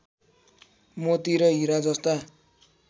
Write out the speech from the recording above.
मोती र हिरा जस्ता